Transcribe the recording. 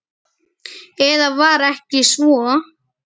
Eða var ekki svo?